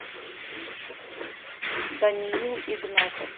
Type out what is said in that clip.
даниил игнатов